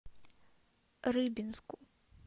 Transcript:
рыбинску